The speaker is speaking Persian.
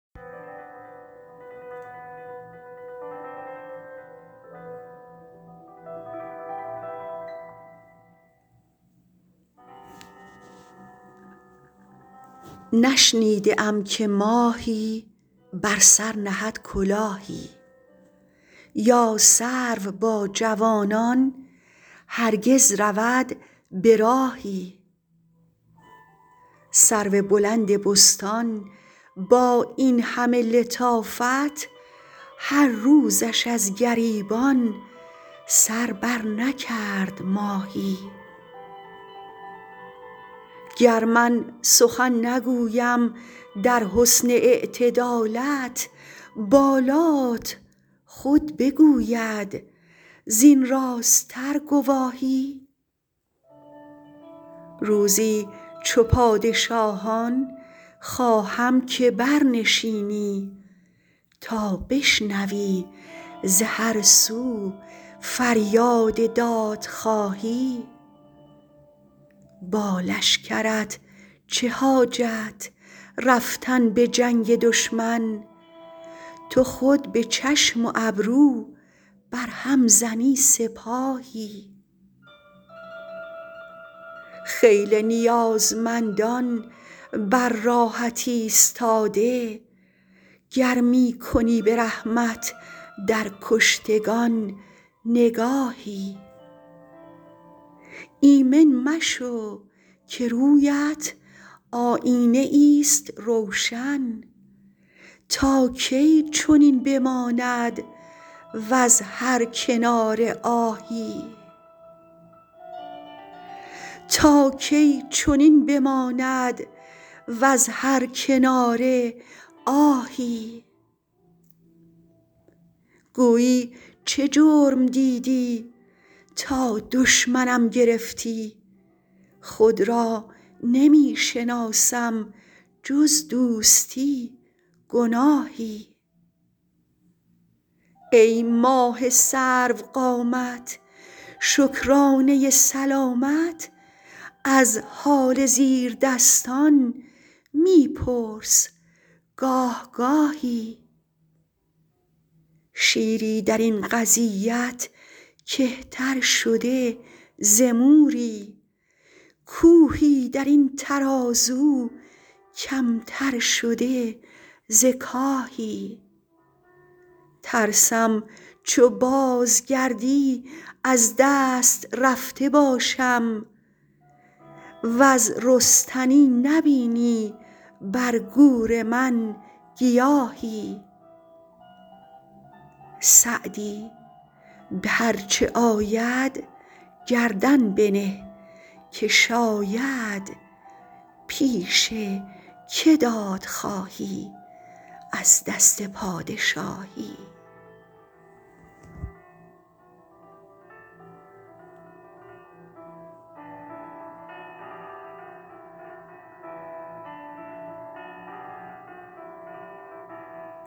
نشنیده ام که ماهی بر سر نهد کلاهی یا سرو با جوانان هرگز رود به راهی سرو بلند بستان با این همه لطافت هر روزش از گریبان سر برنکرد ماهی گر من سخن نگویم در حسن اعتدالت بالات خود بگوید زین راست تر گواهی روزی چو پادشاهان خواهم که برنشینی تا بشنوی ز هر سو فریاد دادخواهی با لشکرت چه حاجت رفتن به جنگ دشمن تو خود به چشم و ابرو بر هم زنی سپاهی خیلی نیازمندان بر راهت ایستاده گر می کنی به رحمت در کشتگان نگاهی ایمن مشو که روی ات آیینه ای ست روشن تا کی چنین بماند وز هر کناره آهی گویی چه جرم دیدی تا دشمنم گرفتی خود را نمی شناسم جز دوستی گناهی ای ماه سرو قامت شکرانه سلامت از حال زیردستان می پرس گاه گاهی شیری در این قضیت کهتر شده ز موری کوهی در این ترازو کم تر شده ز کاهی ترسم چو بازگردی از دست رفته باشم وز رستنی نبینی بر گور من گیاهی سعدی به هر چه آید گردن بنه که شاید پیش که داد خواهی از دست پادشاهی